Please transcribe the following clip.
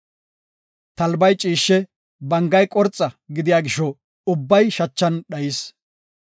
Talbay ciishshe, bangay qorxa gidiya gisho ubbay shachan dhayis.